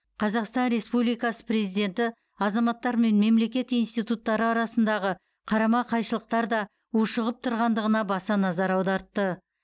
қазақстан республикасы президенті азаматтар мен мемлекет институттары арасындағы қарама қайшылықтар да ушығып тұрғандығына баса назар аудартты